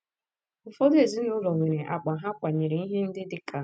Ụfọdụ ezinụlọ nwere akpa ha kwanyere ihe ndị dị ka: *